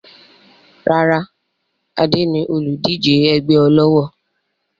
Rárá, Adé ni olùdíje ẹgbẹ́ ọlọ́wọ̀